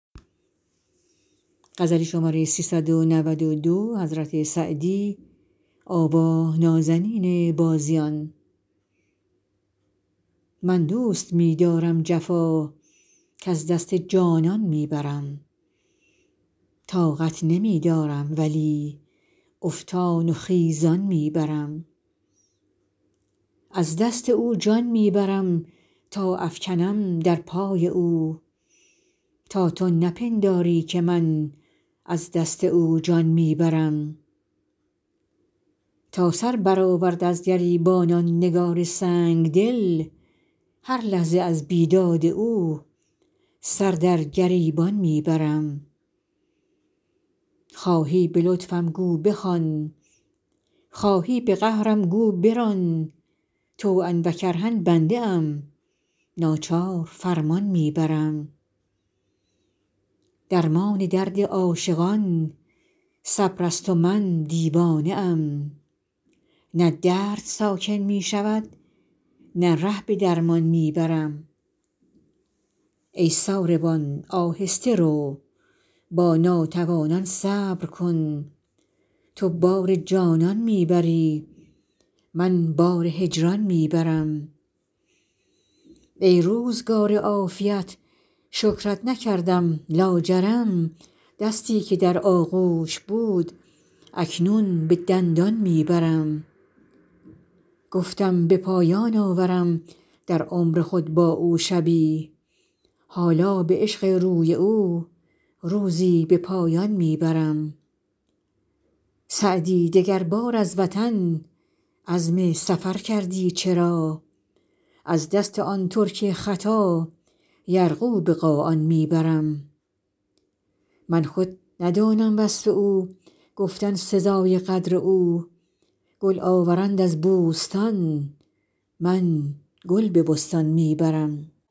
من دوست می دارم جفا کز دست جانان می برم طاقت نمی دارم ولی افتان و خیزان می برم از دست او جان می برم تا افکنم در پای او تا تو نپنداری که من از دست او جان می برم تا سر برآورد از گریبان آن نگار سنگ دل هر لحظه از بیداد او سر در گریبان می برم خواهی به لطفم گو بخوان خواهی به قهرم گو بران طوعا و کرها بنده ام ناچار فرمان می برم درمان درد عاشقان صبر است و من دیوانه ام نه درد ساکن می شود نه ره به درمان می برم ای ساربان آهسته رو با ناتوانان صبر کن تو بار جانان می بری من بار هجران می برم ای روزگار عافیت شکرت نکردم لاجرم دستی که در آغوش بود اکنون به دندان می برم گفتم به پایان آورم در عمر خود با او شبی حالا به عشق روی او روزی به پایان می برم سعدی دگربار از وطن عزم سفر کردی چرا از دست آن ترک خطا یرغو به قاآن می برم من خود ندانم وصف او گفتن سزای قدر او گل آورند از بوستان من گل به بستان می برم